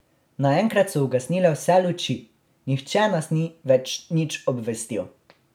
Naenkrat so ugasnile vse luči, nihče nas ni več nič obvestil.